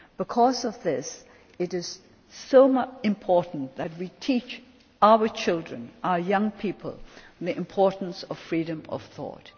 Because of this, it is so important that we teach our children our young people the importance of freedom of thought.